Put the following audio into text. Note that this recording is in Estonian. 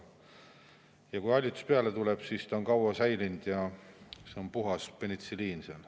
Ja kui hallitus peale tuleb, siis ta on kaua säilinud ja see on puhas penitsilliin seal.